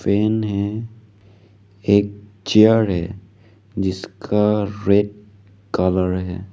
Fan है एक chair है जिसका रेड कलर है।